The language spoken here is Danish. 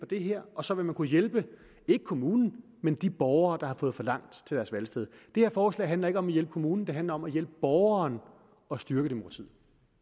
det her og så vil man kunne hjælpe ikke kommunen men de borgere der har fået for langt til deres valgsted det her forslag handler ikke om at hjælpe kommunen det handler om at hjælpe borgeren og styrke demokratiet